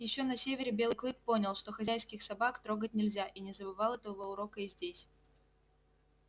ещё на севере белый клык понял что хозяйских собак трогать нельзя и не забывал этого урока и здесь